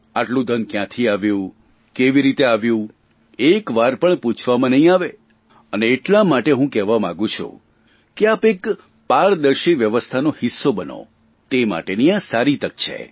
આટલું ધન કયાંથી આવ્યું કેવી રીતે આવ્યું એક વાર પણ પૂછવામાં નહીં આવે અને એમના માટે હું કહેવા માગું છું કે આપ એક પારદર્શી વ્યવસ્થાનો હિસ્સો બનો તે માટેની આ સારી તક છે